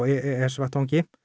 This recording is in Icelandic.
e s vettvangi